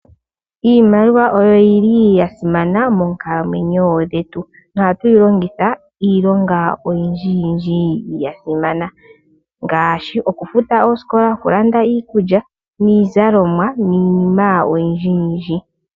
Iimaliwa oyo yi li ya simana moonkalamwenyo dhetu. Oha tu yi longitha iilonga oyindjiyindji ya simana, ngaashi okufuta oosikola, oku landa iikulya niizalomwa niinima oyindjiyindji.